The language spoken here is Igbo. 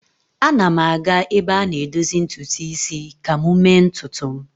Ana m aga ebe a na-edozi ntutu isi ka m mee ntutu m